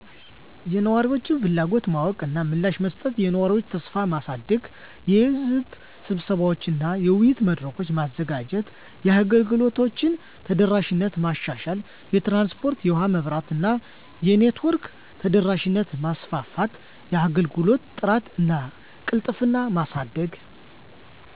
*የነዋሪዎችን ፍላጎት ማወቅ እና ምላሽ መስጠት፦ *የነዋሪዎችን ተሳትፎ ማሳደግ * የሕዝብ ስብሰባዎች እና የውይይት መድረኮች: ማዘጋጀት። * የአገልግሎቶችን ተደራሽነት ማሻሻል * የትራንስፖርት *የውሀ *የመብራት እና የኔትወርክ ተደራሽነትን ማስፋት፤ * የአገልግሎት ጥራት እና ቅልጥፍና ማሳደግ